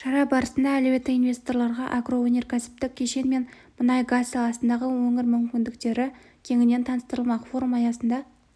шара барысында әлеуетті инвесторларға агроөнеркәсіптік кешен мен мұнай-газ саласындағы өңір мүмкіндіктері кеңінен таныстырылмақ форум аясында